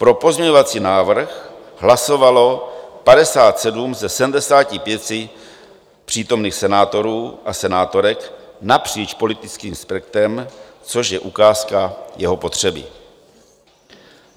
Pro pozměňovací návrh hlasovalo 57 ze 75 přítomných senátorů a senátorek napříč politickým spektrem, což je ukázka jeho potřeby.